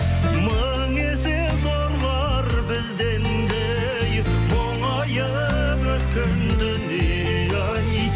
мың есе зорлар бізден де ей мұңайып өткен дүние ай